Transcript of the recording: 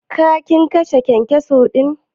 Ka/ kin kashe kyankyaso din?